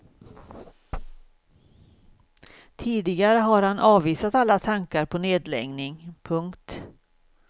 Tidigare har han avvisat alla tankar på en nedläggning. punkt